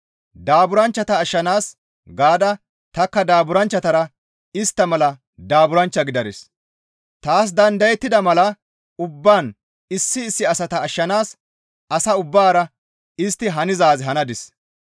Daaburanchchata ashshanaas gaada tanikka daaburanchchatara istta mala daaburanchcha gidadis; taas dandayettida mala ubbaan issi issi asata ashshanaas asa ubbaara istti hanizaaz hanadis.